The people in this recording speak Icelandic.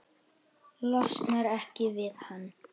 Losnar ekki við hann.